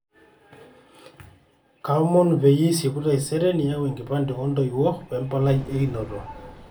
kaomonu peyie isieku taisere niyau enkipande oo ntoiwuo we mbalai e inoto